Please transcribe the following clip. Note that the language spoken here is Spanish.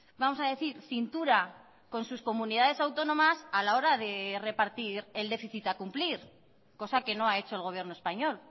vamos a decir cintura con sus comunidades autónomas a la hora de repartir el déficit a cumplir cosa que no ha hecho el gobierno español